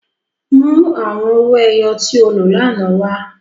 Mu awọn owo-ẹyẹ ti o lo lánà wa!